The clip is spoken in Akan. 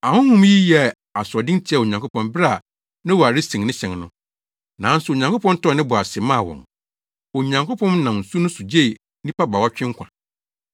Ahonhom yi yɛɛ asoɔden tiaa Onyankopɔn bere a Noa resen ne hyɛn no, nanso Onyankopɔn tɔɔ ne bo ase maa wɔn. Onyankopɔn nam nsu no so gyee nnipa baawɔtwe nkwa,